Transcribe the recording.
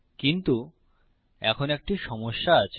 কিন্তু এখন একটি সমস্যা আছে